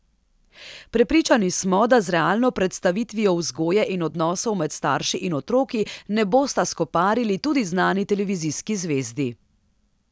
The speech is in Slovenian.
Prepričani smo, da z realno predstavitvijo vzgoje in odnosov med starši in otroki ne bosta skoparili tudi znani televizijski zvezdi.